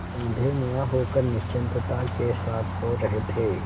औंधे मुँह होकर निश्चिंतता के साथ सो रहे थे